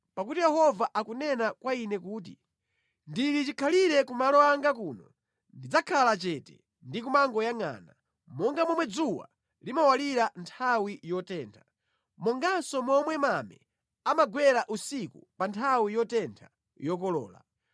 Pakuti Yehova akunena kwa ine kuti, “Ndili chikhalire ku malo anga kuno, ndidzakhala chete, ndi kumangoyangʼana, monga momwe dzuwa limawalira nthawi yotentha, monganso momwe mame amagwera usiku pa nthawi yotentha yokolola.”